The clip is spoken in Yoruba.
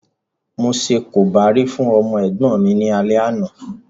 Mo ṣe korobá fún ọmọ ẹ̀gbọ́n mi ní alẹ́ àná